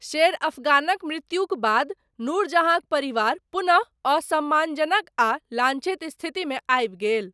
शेर अफगानक मृत्युक बाद, नूर जहाँक परिवार, पुनः असम्मानजनक आ लाञ्छित स्थितिमे आबि गेल।